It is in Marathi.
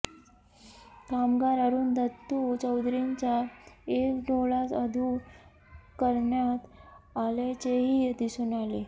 कामगार अरुण दत्तु चौधरींचा एक डोळा अधु करण्यात आल्याचेही दिसून आले